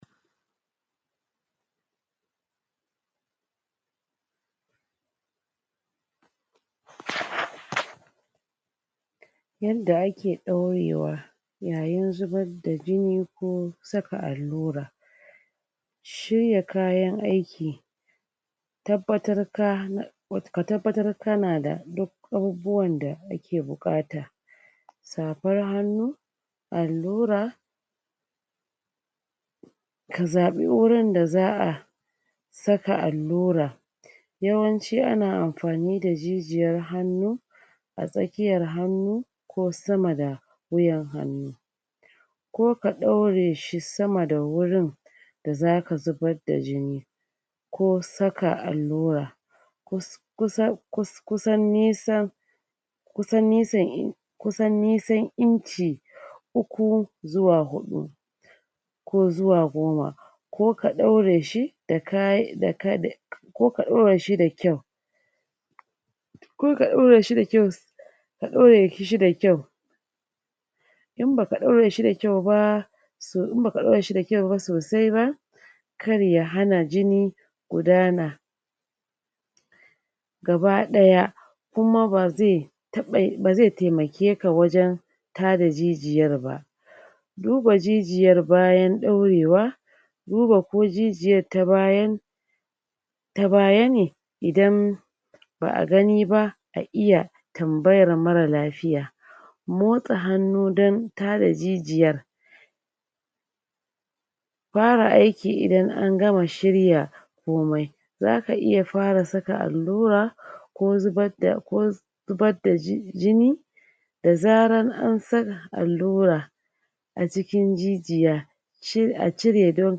um Yanda ake ɗaurewa yayin zubar da jini ko saka allura shirya kayan aiki tabbatara ka ka tabbatar kana duk abubuwan da ake buƙata safar hannu allura ka zaɓi wurin da za a saka allura yawanci ana amfani da jijiyar hannu a tsakiyar hannu ko sama da wutan hannu ko ka ɗaure shi sama da wurin da zaka zubar da jini ko saka allura kus kusa kus kusan nisan kusan nisan kusan nisan inchi uku zuwa huɗu ko zuwa goma ko ka ɗaure shi da ka da ka da ko ka ɗaure shi da kyau ko ka ɗaure shi da kyau ka ɗaure shi da kyau in baka ɗaure shi da kyau ba so in baka ɗaure shi da kyau ba sosai ba kar ya hana jini gudana gaba ɗaya kuma ba zai taɓa ba ze taimakeka ba wajen tada jijiyar ba duba jijiyar bayan ɗaurewa duba ko jijiyar ta bayan ta baya ne idan ba a gani ba a iya tambayar marar lafiya motsa hannu don tada jijiyar fara aiki idan an gama shirya komai zaka iya fara saka allura ko zubad da ko zubad da ji jini da zarar an sa allura a jikin jijiya she a cire don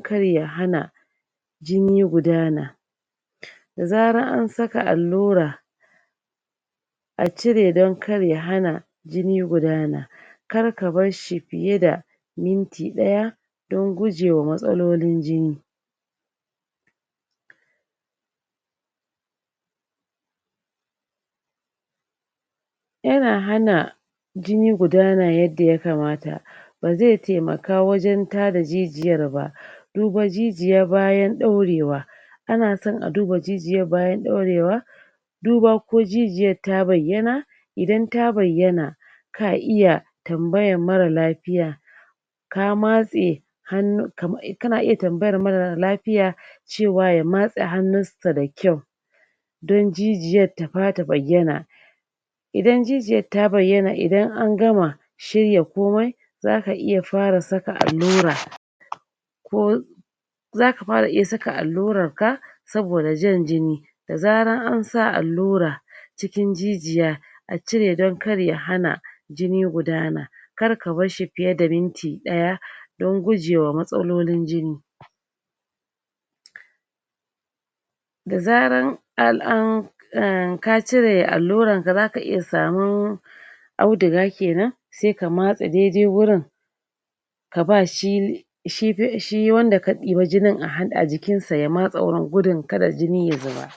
kar ya hana jini gudana da zarar an saka allura a cire don kar ya hana jini gudana kar ka basshi fiye da minyi ɗaya don gujewa matsalolin jini yana hana jini gudana yadda ya kamata ba ze taimaka wajen tada jijiyar ba duba jijiya bayan ɗaurewa ana son a duba jijiyar bayan ɗaurewa duba ko jijiyar ta bayyana idan ta bayyana ka iya tambayar marar lafiya ka matse hannu kam kana iya tambayar marar lafiya cewa ya matse hannun sa da kyau don jijiyar ta fa ta bayyana idan jijiyar ta bayyana idan an gama shirya komai zaka iya fara saka allaura ko zaka iya fara saka allurarka saboda han jini da zarar ana sa allura cikin jijiya a cire don kar ya hana jini gudana kar ka barshi fiye da minti ɗaya don gujewa mastalolin jini da zarar al an um ka ire allurarka zaka iya samu auduga kenan se ka matse dai dai wurin ka ba shi shi shi wanda wanda ka ɗibi jinin a ha a jikinsa ya matse wurin gudun kada jini ya zuba